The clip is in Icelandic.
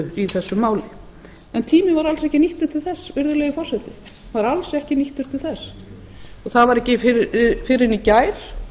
í þessu án en tíminn var alls ekki nýttur til þess virðulegi forseti alls ekki nýttur til þess það var ekki fyrr en í gær